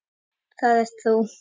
Það ert þú.